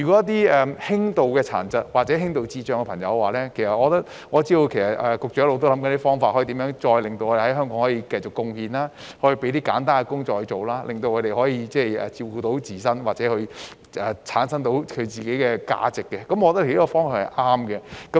在輕度殘疾或智障人士方面，我知道局長一直在想方法讓他們在香港繼續作出貢獻，例如為他們安排簡單的工作，讓他們可以照顧自己，培養自我價值，我認為這方向是對的。